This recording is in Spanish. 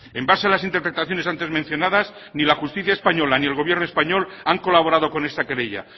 en base a las interpretaciones antes mencionadas ni la justicia española ni el gobierno español han colaborado con esta querella